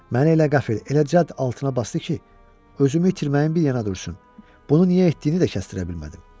Məni elə qəfil, elə cəld altına basdı ki, özümü itirməyim bir yana dursun, bunu niyə etdiyini də kəsttirə bilmədim.